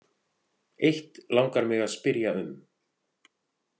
Eitt langar mig að spyrja um.